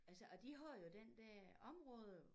Altså og de har jo den der område